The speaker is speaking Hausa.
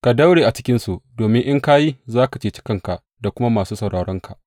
Ka daure a cikinsu, domin in ka yi, za ka ceci kanka da kuma masu sauraronka.